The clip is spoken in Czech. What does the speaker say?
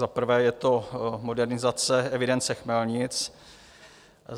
Za prvé je to modernizace evidence chmelnic.